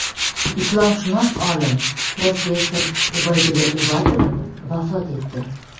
Islomshunos olim, professor Ubaydulla Uvatov vafot etdi.